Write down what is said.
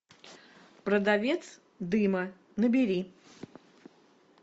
продавец дыма набери